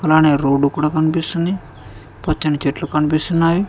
అలానే రోడ్డు కూడా కనిపిస్తుంది పచ్చని చెట్లు కనిపిస్తున్నాయి.